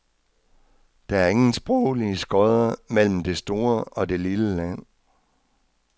Der er ingen sproglige skodder mellem det store og det lille land.